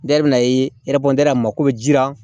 Ne yɛrɛ bɛna a mako bɛ ji la